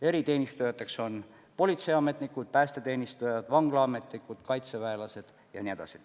Eriteenistujad on politseiametnikud, päästeteenistujad, vanglaametnikud, kaitseväelased jne.